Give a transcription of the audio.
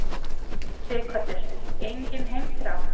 Sighvatur: Engin heimþrá?